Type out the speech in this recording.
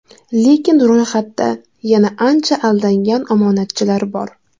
Lekin ro‘yxatda yana ancha aldangan omonatchilar bor.